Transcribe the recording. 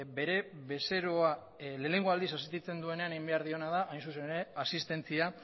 bere bezeroa lehenengo aldiz asistitzen duenean egin behar diona da hain zuzen ere asistentzia